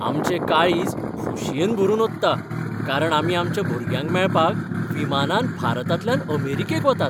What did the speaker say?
आमचें काळीज खोशयेन भरून ओतता कारण आमी आमच्या भुरग्यांक मेळपाक विमानान भारतांतल्यान अमेरिकेक वतात .